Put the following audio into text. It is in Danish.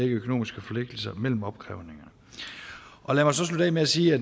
økonomiske forpligtelser mellem opkrævningerne lad mig så slutte af med at sige